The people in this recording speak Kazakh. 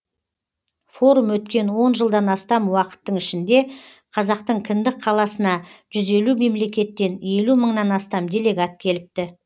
форум өткен он жылдан астам уақыттың ішінде қазақтың кіндік қаласына жүз елу мемлекеттен елу мыңнан астам делегат келіпті